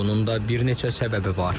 Bunun da bir neçə səbəbi var.